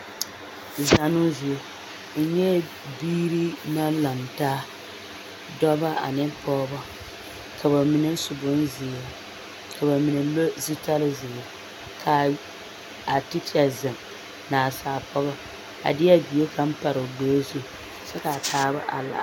Zannoo zie, n nyɛɛ biiri naŋ lantaa dɔbɔ ane pɔgebɔ ka bamine su bonzeere ka bamine le zutare zeere k'a tekyɛ zeŋ naasaale pɔgɔ a deɛ bie kaŋ pare o gbɛɛ zu kyɛ k'a taaba are laara.